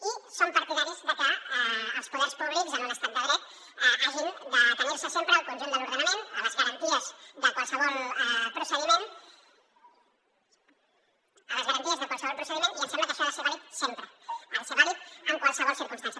i som partidaris de que els poders públics en un estat de dret hagin d’atenir se sempre al conjunt de l’ordenament a les garanties de qualsevol procediment i em sembla que això ha de ser vàlid sempre ha de ser vàlid en qualsevol circumstància